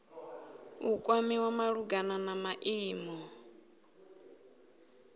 u kwamiwa malugana na maimo